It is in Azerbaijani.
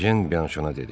Ejen Bianşona dedi: